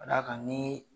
Ka d'a kan ni